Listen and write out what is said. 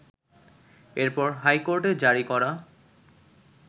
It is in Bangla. এরপর হাইকোর্টের জারি করা